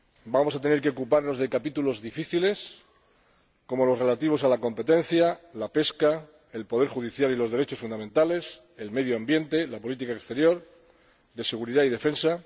Vamos a tener que ocuparnos de capítulos difíciles como los relativos a la competencia, la pesca, el poder judicial y los derechos fundamentales, el medio ambiente y la política exterior, de seguridad y defensa.